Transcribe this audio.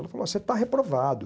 Ela falou, você está reprovado.